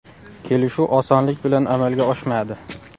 Kelishuv osonlik bilan amalga oshmadi.